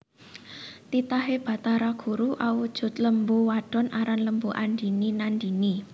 Titihané Bathara guru awujud lembu wadon aran Lembu andhini Nandhini